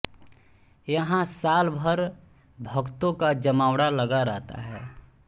यहां साल भर भक्तों का जमावड़ा लगा रहता है